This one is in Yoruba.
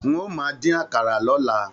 N o máa din àkàrà l'ọla.